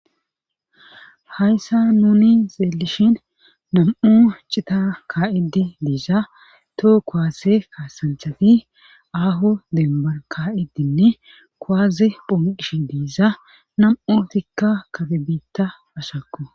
Hayssa nuni xeelishin nam'u cita kaa'iddi diisa too koaase kaasanthati aahu dembar ka'iddinne koaaze phonqish diiza nam'utikka kafi biitta ashakku.